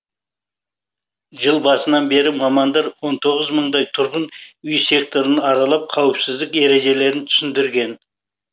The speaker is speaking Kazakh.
жыл басынан бері мамандар он тоғыз мыңдай тұрғын үй секторын аралап қауіпсіздік ережелерін түсіндерген